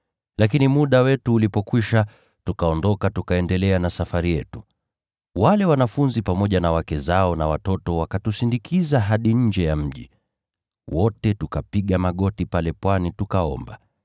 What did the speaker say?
Lakini muda wetu ulipokwisha, tukaondoka tukaendelea na safari yetu. Wale wanafunzi pamoja na wake zao na watoto wakatusindikiza hadi nje ya mji. Wote tukapiga magoti pale pwani tukaomba.